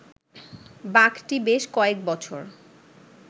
বাঘটি বেশ কয়েক বছর